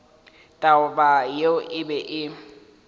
taba yeo e be e